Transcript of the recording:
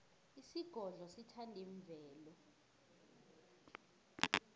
isigodlo sithanda imvelo